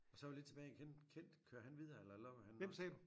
Og så er vi lidt tilbage i Kent kører han videre eller lukker han også?